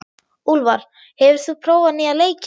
Úlfar, hefur þú prófað nýja leikinn?